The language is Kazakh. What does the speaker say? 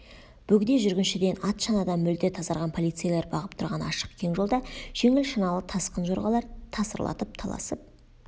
бөгде жүргіншіден ат шанадан мүлде тазарған полицейлер бағып тұрған ашық кең жолда жеңіл шаналы тасқын жорғалар тасырлатып таласып